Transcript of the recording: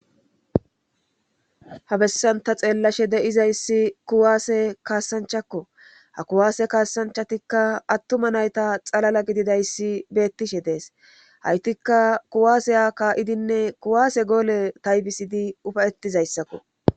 Ha bessanta xeellashe de7izayssi kuwaasse kaasanchakko ha kuwaase kaasanchatikka attuma nayta xalala gididayssi beettishe dees haytikka kuwaaseya kaa7idinne kuwaase goole taybisidi ufayetizayssakko